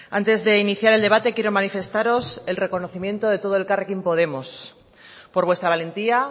antes de iniciar el debate quiero manifestaros el reconocimiento de todo elkarrekin podemos por vuestra valentía